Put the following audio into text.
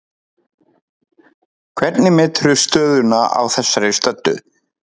Hvernig meturðu stöðuna á þessari stöddu?